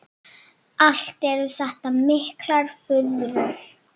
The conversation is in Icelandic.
Allt eru þetta miklar furður.